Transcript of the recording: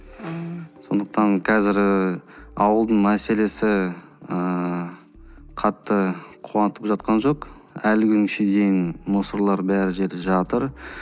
ааа сондықтан қазір і ауылдың мәселесі ыыы қатты қуантып жатқан жоқ әлі күн дейін мусорлар бәрі жерде жатыр